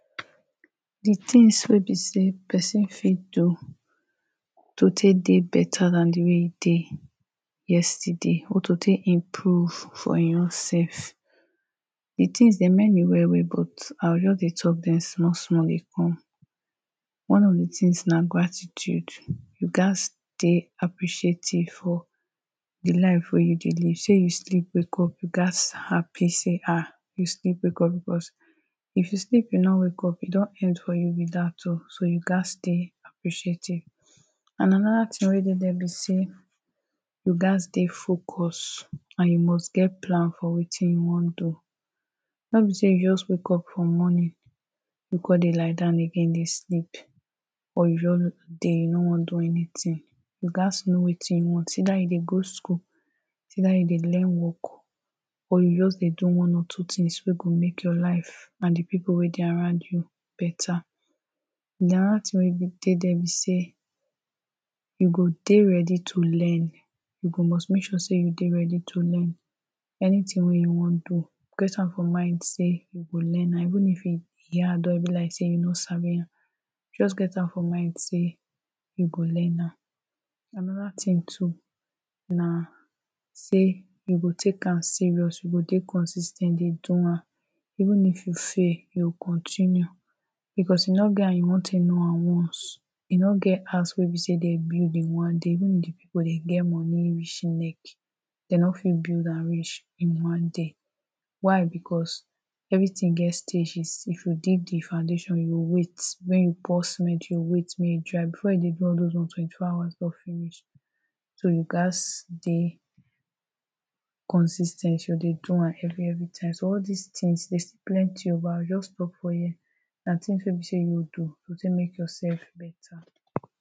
the things wey be say person fit do to tek dey better than the way e dey yesterday or to tek improve for him own self the things dem many well-well but I go just dey talk dem small-small dey come One of the things na gratitude You gats dey appreciative for the life wey you dey live. Shey you sleep, wake up? You gats happy say um you sleep wake because if you sleep you no wake up e don end for you be that oh, so you gats dey appreciative And anoda ting wey dey dia be say you gats dey focused and you must get plan for wetin you wan do No be say you just wake up for morning, you come dey lie down again dey sleep or just you dey you no wan do anything. You gats know wetin you want. Either you dey go school. Either you dey learn work Or you just dey do one or two things wey go make your life and the people wey dey around you beta anoda thing wey dey there be say, you go dey ready to learn You go must make sure say you dey ready to learn Anything wey you wan do get am for mind say you go learn am. Even if your hand don be like say you don sabi am Just get am for mind say you go learn am anoda thing too na say you go tek am serious. You go dey consis ten t dey do am Even if you fail you go continue because e no get how you wan tek know am at once e no get house wey be say dem build in one day. Even if the people dem get money reach im neck. dem no fit build am reach in one day Why because everything get stages. If you dey the foundation you go wait. When you pour cement you go wait make e dry. Before you dey do all those ones twenty four hours don finish. So you gats dey consis ten t dey do am every every time so all this things dey still plenty but I go just stop for here na things wey be say you go do go tek mek yourself better